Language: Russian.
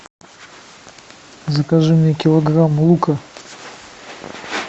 закажи мне килограмм лука